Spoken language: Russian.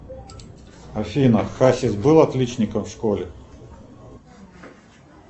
афина хасис был отличником в школе